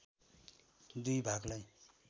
दुई भागलाई